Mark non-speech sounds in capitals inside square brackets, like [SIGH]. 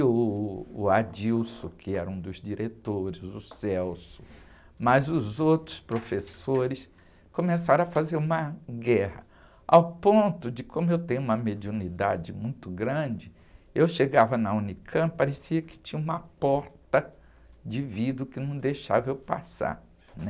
E uh, o, [UNINTELLIGIBLE] que era um dos diretores, o. [UNINTELLIGIBLE] Mas os outros professores começaram a fazer uma guerra, ao ponto de, como eu tenho uma mediunidade muito grande, eu chegava na unicampi, parecia que tinha uma porta de vidro que não deixava eu passar, né?